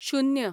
शुन्य